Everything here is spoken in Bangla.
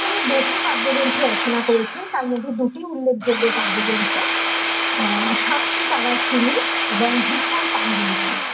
এখানে যেসব কাব্যগ্রন্থ রচনা করেছেন তার মধ্যে দুটি উল্লেখযোগ্য কাব্যগ্রন্থ আহ সাতটি এবং ধূসর পাণ্ডুলিপি ।